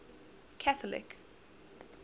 catholic